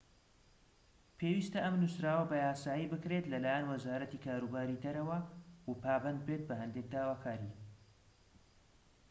پێویستە ئەم نووسراوە بە یاسایی بکرێت لە لایەن وەزارەتی کاروباری دەرەوە و پابەند بێت بە هەندێک داواکاری